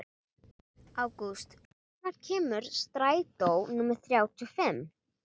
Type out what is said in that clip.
Ágústa, hvenær kemur strætó númer þrjátíu og fimm?